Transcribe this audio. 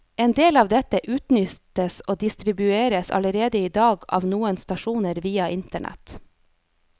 En del av dette utnyttes og distribueres allerede i dag av noen stasjoner via internett.